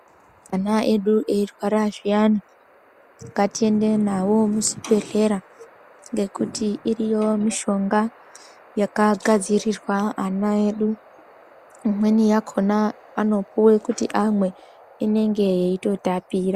Ana edu eirwara zviyani ngatiende nawo muzvibhedhlera ngekuti iriyo mushonga yakagadzirwa ana edu imweni yakona anopuwa kuti amwe inonga yeitotapira.